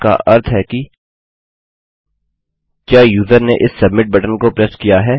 जिसका अर्थ है कि क्या यूज़र ने इस सबमिट बटन को प्रेस किया है